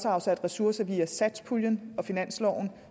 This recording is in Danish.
afsat ressourcer via satspuljen og finansloven